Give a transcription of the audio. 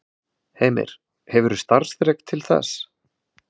Heimir: Hefurðu starfsþrek til þess?